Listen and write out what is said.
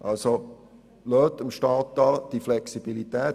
Also lassen Sie dem Staat diese Flexibilität.